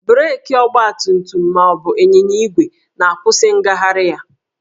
Breekị ọgbatumtum ma ọ bụ ịnyịnya igwe na-akwụsị ngagharị ya